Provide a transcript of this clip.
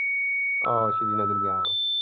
ਆਹੋ ਸ੍ਰੀਨਗਰ ਗਿਆ।